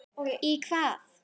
Í hvað?